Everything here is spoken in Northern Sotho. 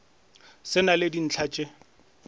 se na le dintlha tše